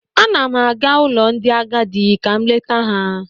Ana m aga ụlọ ndị agadị ka m leta ha.